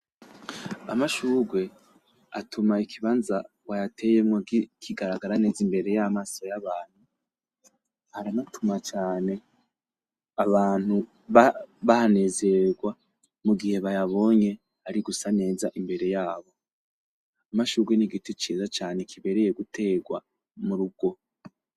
Amashurwe atuma ikibanza wayateyemwo kigaragara neza imbere y’amaso y’abantu, aranatuma cane abantu ba bahanezerererwa mugihe bayabonye ari gusa neza imbere yabo. Amashurwe n’igiti ciza cane kibereye guterwa mu rugo.